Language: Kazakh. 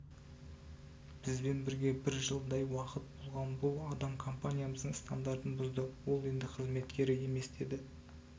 бізбен бірге бір жылдай уақыт болған бұл адам компаниямыздың стандартын бұзды ол енді қызметкері емес деді